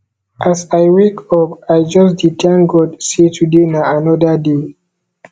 as i wake up i just dey thank god sey today na anoda day